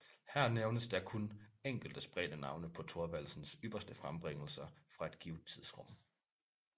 Her nævnes da kun enkelte spredte navne på Thorvaldsens ypperste frembringelser fra et givet tidsrum